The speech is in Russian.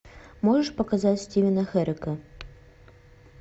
можешь показать стивена херека